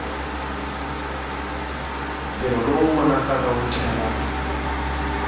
ntirho lowu vonakaka wu tlhela